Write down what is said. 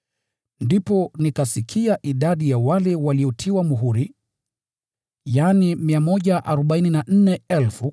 Ndipo nikasikia idadi ya wale waliotiwa muhuri: yaani 144,000 kutoka makabila yote ya Israeli.